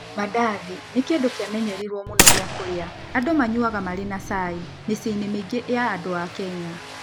Mandazi nĩ kĩndũ kĩamenyereire mũno gĩa kũrĩa andũ manyuaga marĩ na cai mĩciĩ-inĩ mĩingĩ ya andũ a Kenya.